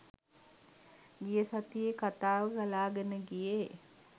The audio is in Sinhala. ගිය සතියේ කතාව ගලාගෙන ගියේ.